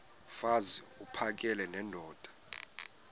mfaz uphakele nendoda